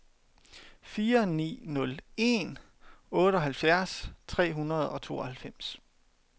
fire ni nul en otteoghalvfjerds tre hundrede og tooghalvfems